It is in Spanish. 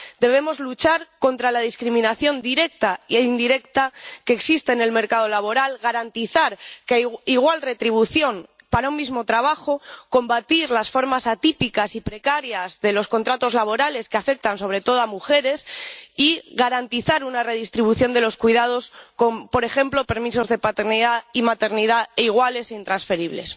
Debemos luchar contra la discriminación directa e indirecta que existe en el mercado laboral, garantizar que haya igual retribución para un mismo trabajo, combatir las formas atípicas y precarias de los contratos laborales, que afectan sobre todo a las mujeres, y garantizar una redistribución de los cuidados con, por ejemplo, permisos de paternidad y maternidad iguales e intransferibles.